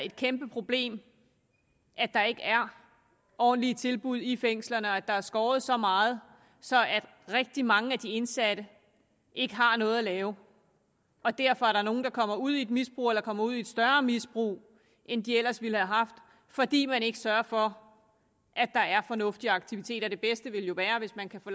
et kæmpe problem at der ikke er ordentlige tilbud i fængslerne og at der er skåret så meget så rigtig mange af de indsatte ikke har noget at lave derfor er der nogle der kommer ud i et misbrug eller kommer ud i et større misbrug end de ellers ville have haft fordi man ikke sørger for at der er fornuftige aktiviteter det bedste vil jo være hvis man kan få